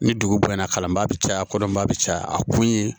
Ni dugu bonyana kalanbaa bɛ caya kɔdɔnba bɛ caya a kun ye